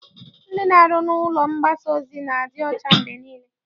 Ndị na-arụ n'ụlọ mgbasa ozi na-adị ọcha mgbe niile.